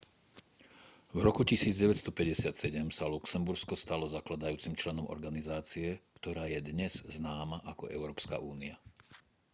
v roku 1957 sa luxembursko stalo zakladajúcim členom organizácie ktorá je dnes známa ako európska únia